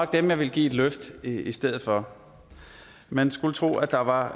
dem jeg ville give et løft i stedet for man skulle tro at der var